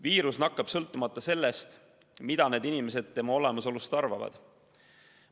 Viirus nakkab sõltumata sellest, mida inimesed tema olemasolust arvavad.